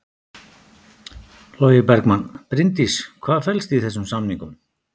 Logi Bergmann: Bryndís hvað felst í þessum samningum?